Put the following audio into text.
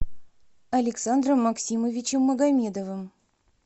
александром максимовичем магомедовым